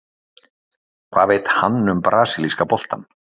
Hvað veit hann um brasilíska boltann?